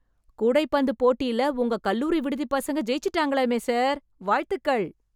கூடைப்பந்து போட்டியில உங்க கல்லூரி விடுதிப் பசங்க ஜெயிச்சுட்டாங்களாமே சார்... வாழ்த்துகள்.